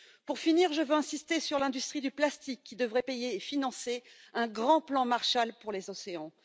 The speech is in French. Pour finir, je veux insister sur l'industrie du plastique qui devrait payer et financer un grand plan Marshall pour les océans.